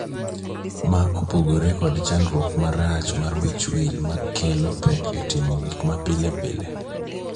Ma opogore kod chandruok marach mar wich wil ma kelo pek e timo gik ma pile pile.